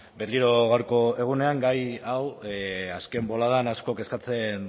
berriro gaurko egunean gai hau azken boladan asko kezkatzen